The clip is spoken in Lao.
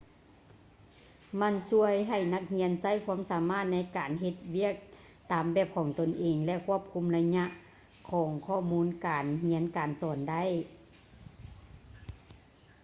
ມັນຊ່ວຍໃຫ້ນັກຮຽນໃຊ້ຄວາມສາມາດໃນການເຮັດວຽກຕາມແບບຂອງຕົນເອງ ແລະ ຄວບຄຸມໄລຍະຂອງຂໍ້ມູນການຮຽນການສອນໄດ້